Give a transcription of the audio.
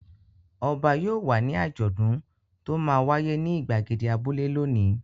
Ọba yóò wà ní àjọ̀dún tó máa wáyé ní ìgbàgede abúlé lónìí.